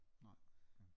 Nej okay